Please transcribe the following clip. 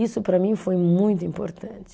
Isso para mim foi muito importante.